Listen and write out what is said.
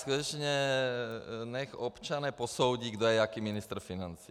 Skutečně nechť občané posoudí, kdo je jaký ministr financí.